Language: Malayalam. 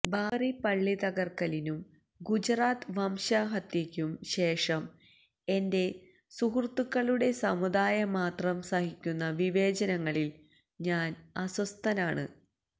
ബാബറി പള്ളി തകര്ക്കലിനും ഗുജറാത്ത് വംശഹത്യയ്ക്കും ശേഷം എന്റെ സുഹൃത്തുക്കളുടെ സമുദായം മാത്രം സഹിക്കുന്ന വിവേചനങ്ങളില് ഞാന് അസ്വസ്ഥനാണ്